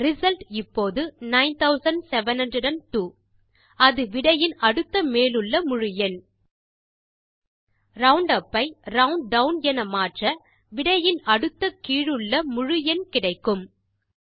result இப்போது 9702 அது விடையின் அடுத்த மேலுள்ள முழு எண் ரவுண்டுப் ஐ ரவுண்டவுன் என மாற்ற விடையின் அடுத்த கீழுள்ள முழு எண் கிடைக்கும்